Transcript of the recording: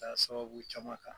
sababu caman kan.